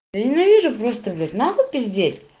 ненавижу просто блять нахуй пиздеть